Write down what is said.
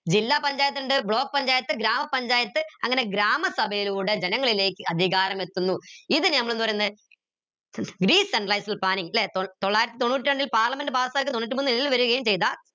ജില്ല പഞ്ചായത്തിണ്ട് block പഞ്ചായത്ത് ഗ്രാമപഞ്ചായത്ത് അങ്ങനെ ഗ്രാമ സഭയിലൂടെ ജനങ്ങളിലേക്ക് അധികാരം എത്തുന്നു ഇതിനെ നമ്മളെന്ത് പറീന്ന് decentralized planning ല്ലെ തൊള്ളായിരത്തി തൊണ്ണൂറ്റ് രണ്ടിൽ parliament pass ആക്കിയ തൊണ്ണൂറ്റ് മൂന്നിൽ വരുകയും ചെയ്ത